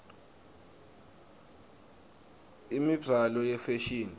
imibzalo yefashini